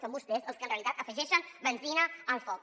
són vostès els que en realitat afegeixen benzina al foc